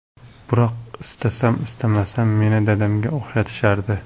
Biroq istasam-istamasam meni dadamga o‘xshatishardi.